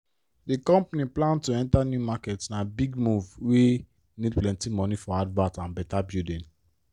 the company plan to enter new market na big move wey need plenty money for advert and better building